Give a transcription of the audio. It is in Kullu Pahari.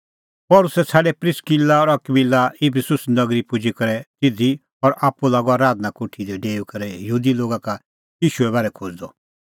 पल़सी छ़ाडै प्रिस्किला और अकबिला इफिसुस नगरी पुजी करै तिधी और आप्पू लागअ आराधना कोठी दी डेऊई करै यहूदी लोगा का ईशूए बारै खोज़दअ